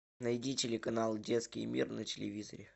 найди телеканал детский мир на телевизоре